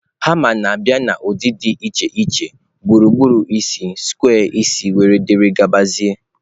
Hama na-abịa n'ụdị dị iche iche gburugburu isi, square isi wdg